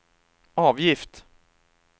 avgift